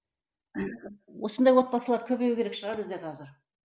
осындай отбасылар көбею керек шығар бізде қазір